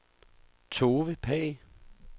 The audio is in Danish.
Tove Pagh